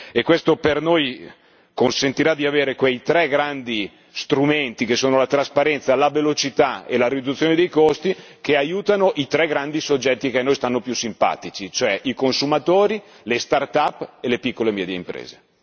e questo per noi consentirà di avere quei tre grandi strumenti che sono la trasparenza, la velocità e la riduzione dei costi, che aiutano i tre grandi soggetti che a noi stanno più simpatici, cioè i consumatori, le start up e le piccole e medie imprese.